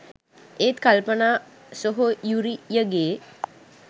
ඒත් කල්පනා සොහොයුරියගේ